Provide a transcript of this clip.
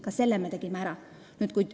Ka selle me tegime ära.